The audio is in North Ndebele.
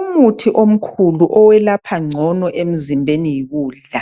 Umuthi omkhulu owelapha ngcono emzimbeni yikudla.